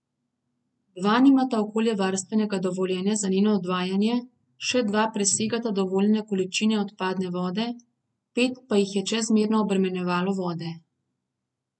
Dva nimata okoljevarstvenega dovoljenja za njeno odvajanje, še dva presegata dovoljene količine odpadne vode, pet pa jih je čezmerno obremenjevalo vode.